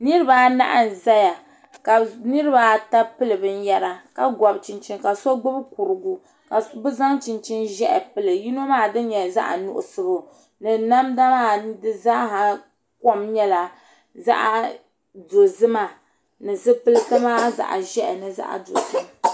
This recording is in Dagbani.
Niriba anahi n zaya ka niriba ata pili binyera ka gɔbi chinchini ka so gbibi kurugu ka bɛ zaŋ chinchini ʒehi pili yino maa dini nyɛla zaɣa nuɣuso ni namda maa dizaa kom nyɛla zaɣa dozima ni zipilti maa zaɣa ʒehi ni zaɣa dozima.